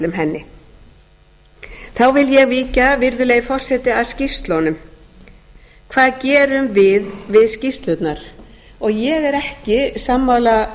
ætlum henni þá vil ég víkja virðulegi forseti að skýrslunum hvað gerum við við skýrslurnar ég er ekki sammála